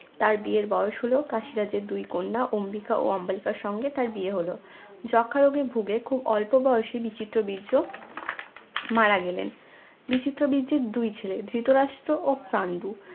তার বিয়ের বয়স হল কাশি রাজের দুই কন্যা অম্বিকা ও অম্বালিকার সঙ্গে তার বিয়ে হল যক্ষা রোগে ভোগে খুব অল্প বয়সে বিচিত্র বীর্য মারা গেলেন বিচিত্র বীর্যের দুই ছেলে ধৃতরাষ্ট্র ও পান্ডু